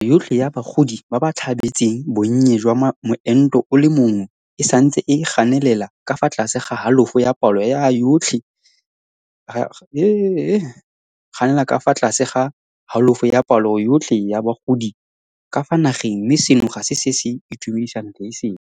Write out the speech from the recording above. Palo yotlhe ya bagodi ba ba tlhabetseng bonnye jwa moento o le mongwe e santse e ganelela ka fa tlase ga halofo ya palo yotlhe ya bagodi ka fa nageng mme seno ga se se se itumedisang leeseng.